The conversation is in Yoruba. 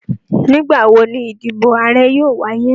Nigbawo ni idibo aarẹ yoo waye?